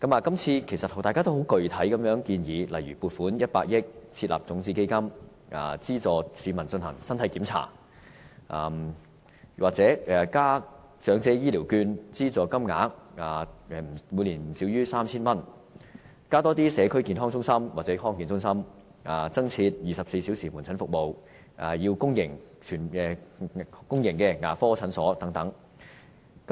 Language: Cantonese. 今次大家均提出一些具體的建議，例如撥款100億元設立種子基金，資助市民進行身體檢查；又或是增加長者醫療券資助金額至每年不少於 3,000 元；增加社區健康中心或康健中心，增設24小時門診服務，增加公營牙科診所等。